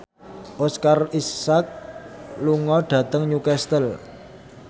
Oscar Isaac lunga dhateng Newcastle